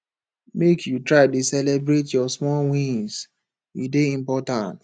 make you dey try dey celebrate your small wins e dey important